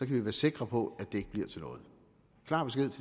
vi være sikre på at det ikke bliver til noget